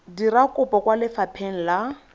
dira kopo kwa lefapheng la